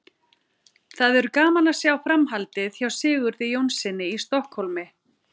Það verður gaman að sjá framhaldið hjá Sigurði Jónssyni í Stokkhólmi.